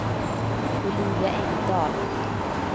Olivia Engdahl